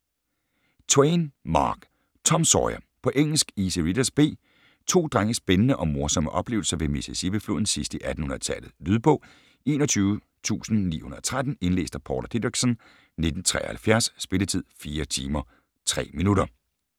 Twain, Mark: Tom Sawyer På engelsk. Easy Readers, B. To drenges spændende og morsomme oplevelser ved Mississippifloden sidst i 1800-tallet. Lydbog 21913 Indlæst af Paula Dideriksen, 1973. Spilletid: 4 timer, 3 minutter.